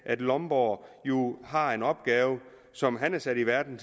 at lomborg har en opgave som han er sat i verden